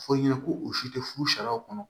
Fɔ i ɲɛna ko u si tɛ furu sariya kɔnɔ